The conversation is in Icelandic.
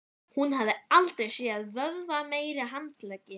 Hún hafði aldrei séð vöðvameiri handleggi.